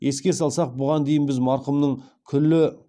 еске салсақ бұған дейін біз марқұмның күлі